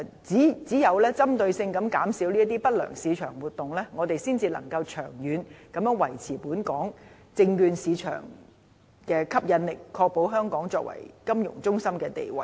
只有針對性地減少不良市場活動，我們才能夠長遠地維持本港證券市場的吸引力，確保香港作為金融中心的地位。